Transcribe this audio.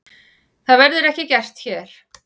Það verður ekki gert hér.